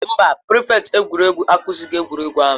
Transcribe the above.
Mba, prịfèkt egwuregwu akụzighị egwuregwu ahụ.